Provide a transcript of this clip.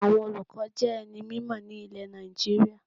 Àwọn olùkọ́ jé ẹni mímò ní ilè Nàìjíríà